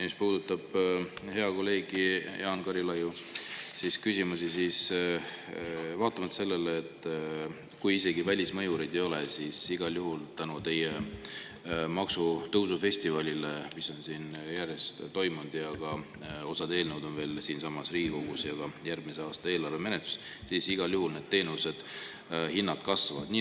Mis puudutab hea kolleegi Jaan Karilaiu küsimusi, siis vaatamata sellele, kui isegi välismõjureid ei ole, tänu teie maksutõusufestivalile, mis on siin järjest toimunud – osa eelnõusid ja ka järgmise aasta eelarve on siinsamas Riigikogus menetlusel –, igal juhul need teenuste hinnad kasvavad.